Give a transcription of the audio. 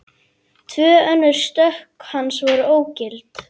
Tvö önnur stökk hans voru ógild